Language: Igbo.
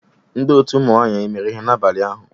Ndị otu ụmụnwanyị emere ihe n'abalị ụnyanhụ?